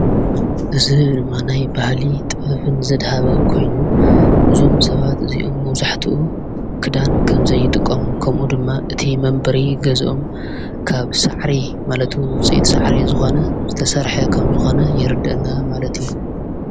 እዝ ድማናይ ባህሊ ጠብን ዘድሃበ ኮይኑ እዞም ሰባት እዚኦም መብዙሕትኡ ክዳን ከም ዘይጥቆሙን ከምኡ ድማ እቲ መንበሪ ገዞኦም ካብ ሣዕሪ ማለቱ ንዉፂት ሰዕሬ ዝኾነ ዝተሠርሐ ኸም ዝኾነ የርድአና ማለት እዩ ::